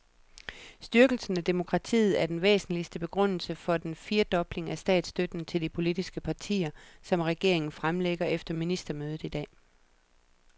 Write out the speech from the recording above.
Styrkelse af demokratiet er den væsentligste begrundelse for den firedobling af statsstøtten til de politiske partier, som regeringen fremlægger efter ministermødet i dag.